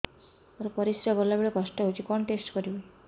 ମୋର ପରିସ୍ରା ଗଲାବେଳେ କଷ୍ଟ ହଉଚି କଣ ଟେଷ୍ଟ କରିବି